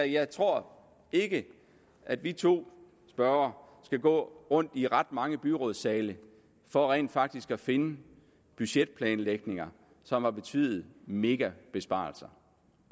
jeg tror ikke at vi to spørgere skal gå rundt i ret mange byrådssale for rent faktisk at finde budgetplanlægninger som har betydet megabesparelser